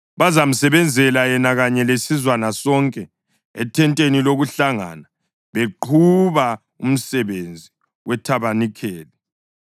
Bazamsebenzela yena kanye lesizwana sonke ethenteni lokuhlangana beqhuba umsebenzi wethabanikeli.